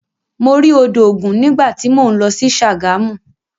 Mo rí odò ògun nígbà tí mò ń lọ sí Ṣàgámù.